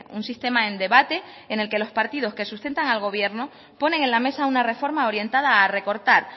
un sistema en debate en el que los partidos que sustentan al gobierno ponen en la mesa una reforma orientada a recortar